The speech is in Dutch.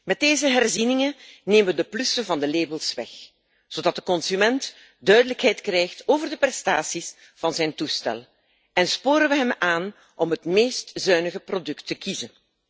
Met deze herzieningen nemen we de plussen van de labels weg, zodat de consument duidelijkheid krijgt over de prestaties van zijn toestel en sporen we hem aan om het meest zuinige product te kiezen.